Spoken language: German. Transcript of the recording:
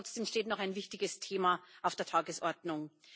Und trotzdem steht noch ein wichtiges Thema auf der Tagesordnung.